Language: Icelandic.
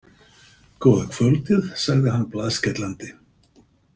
Góða kvöldið, sagði hann blaðskellandi.